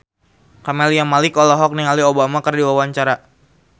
Camelia Malik olohok ningali Obama keur diwawancara